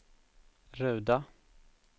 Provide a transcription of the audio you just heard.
Ruda